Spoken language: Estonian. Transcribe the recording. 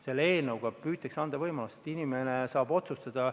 Selle seadusega püütakse anda võimalus, et inimene saab otsustada.